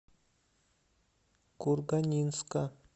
курганинска